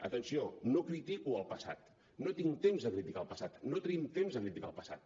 atenció no critico el passat no tinc temps de criticar el passat no tenim temps de criticar el passat